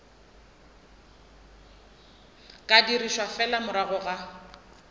ka dirišwa fela morago ga